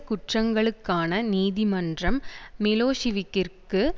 குற்றங்களுக்கான நீதிமன்றம் மிலோசிவிக்கிற்கு